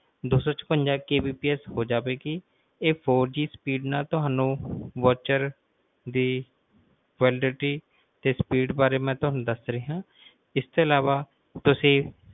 ਦੋਸੋਚਪੰਜਾ Kbps ਹੋ ਜਾਵੇਗੀ ਇਹ fourGSpeed ਨਾਲ ਤੁਹਾਨੂੰ voucher ਦੀ ਤੇ validity ਬਾਰੇ ਮਈ ਤੁਹਾਨੂੰ ਦੱਸ ਰਿਹਾ ਆ ਇਸ ਤੋਂ ਅਲਾਵਾ ਤੁਸੀਂ